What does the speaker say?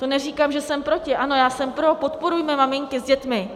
To neříkám, že jsem proti - ano, já jsem pro, podporujme maminky s dětmi.